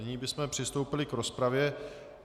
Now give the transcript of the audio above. Nyní bychom přistoupili k rozpravě.